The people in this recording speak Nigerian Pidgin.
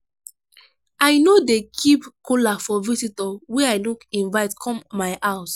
i no dey keep kola for visitor wey i no invite come my house.